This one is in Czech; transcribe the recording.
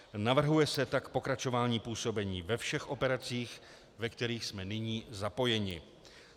Navrhuje se tak pokračování působení ve všech operacích, ve kterých jsme nyní zapojeni.